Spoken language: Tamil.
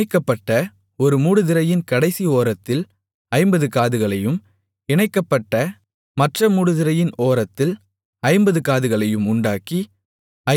இணைக்கப்பட்ட ஒரு மூடுதிரையின் கடைசி ஓரத்தில் ஐம்பது காதுகளையும் இணைக்கப்பட்ட மற்ற மூடுதிரையின் ஓரத்தில் ஐம்பது காதுகளையும் உண்டாக்கி